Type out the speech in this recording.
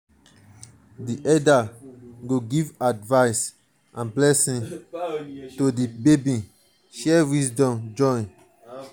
di elders go give advice and blessings to di baby share wisdom.